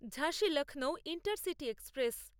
ঝাঁসী Lucknow intercity express